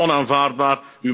Dat is onaanvaardbaar.